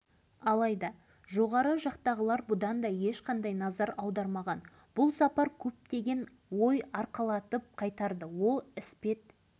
онда жылы семей полигонына іргелес орналасқан павлодар облысы май ауданының бекетай ауылында қышбаев деген шопан қой бағып жүріп